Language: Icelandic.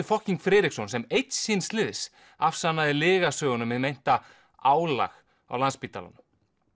fokking Friðriksson sem einn síns liðs afsannaði lygasögu um meint álag á Landspítalanum